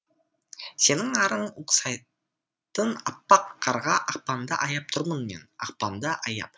сенің арың ұқсайтын аппақ қарға ақпанды аяп тұрмын мен ақпанды аяп